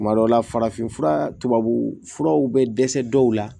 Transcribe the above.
Tuma dɔw la farafinfura tubabufuraw bɛ dɛsɛ dɔw la